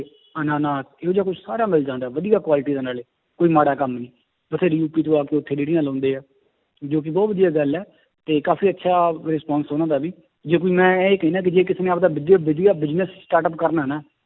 ਅੰਨਾਨਾਸ, ਇਹੋ ਜਿਹਾ ਕੁਛ ਸਾਰਾ ਮਿਲ ਜਾਂਦਾ ਹੈ ਵਧੀਆ quality ਦਾ ਨਾਲੇ, ਕੋਈ ਮਾੜਾ ਕੰਮ ਨਹੀਂ, ਬਥੇਰੀ ਰੇੜੀਆਂ ਲਾਉਂਦੇ ਹੈ, ਜੋ ਕਿ ਬਹੁਤ ਵਧੀਆ ਗੱਲ ਹੈ ਤੇ ਕਾਫ਼ੀ ਅੱਛਾ response ਉਹਨਾਂ ਦਾ ਵੀ, ਜੇ ਕੋਈ ਮੈਂ ਇਹ ਕਹਿਨਾ ਕਿ ਜੇ ਕਿਸੇ ਨੇ ਆਪਦਾ ਬਿਜ~ ਵਧੀਆ business startup ਕਰਨਾ ਨਾ